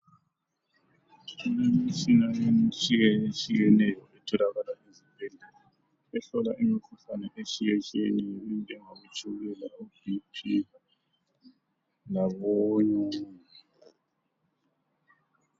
Kulemitshina etshiyetshiyeneyo etholakala esibhedlela ehlola imikhuhlane etshiyetshiyeneyo enjengabo tshukela , bp labonyongo.